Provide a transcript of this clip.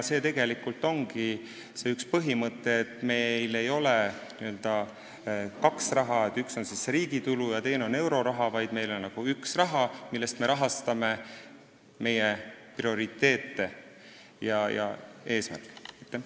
See on see põhimõte, et meil ei ole n-ö kahte raha – üks on riigi tulud ja teine on euroraha –, vaid meil on üks raha, millest me rahastame meie prioriteete ja eesmärkide saavutamist.